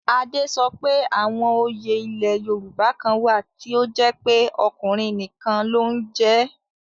Ade sọ pé àwọn òye ilẹ̀ Yorùbá kan wà tí ó jẹ́ pé ọkùnrin nìkan ló ń jẹ ẹ́